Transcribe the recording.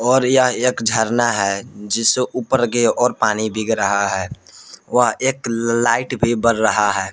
और यह एक झरना है जिससे ऊपर के और पानी भीग रहा है व एक लाइट भी बर रहा है।